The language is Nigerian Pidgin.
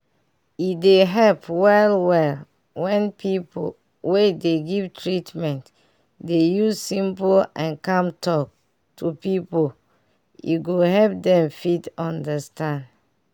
e dey help well well when pipu wey dey give treatment dey use simple and calm talk to people e go help dem fit understand.